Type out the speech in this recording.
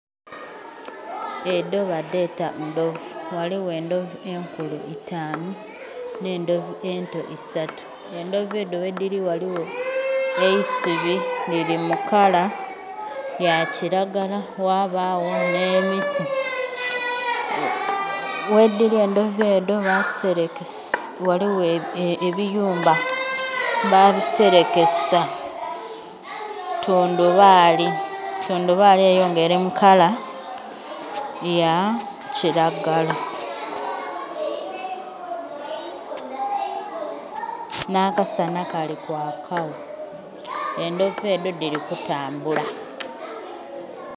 Edho badheta ndhovu ghaligho endhovu enkulu itanu nhe endhovu ento isatu, endhovu edho ghe dhili ghaligho eisubi lili mu kala ya kilagala ghabagho nhe miti, ghe dhili endhovu edho ghaligho ebiyumba babiselekesa tundhubali, tundhubali eyo nga eri mukala ya kilagala nha kasana kali kwaaka gho endhovu edho dhili kutambula.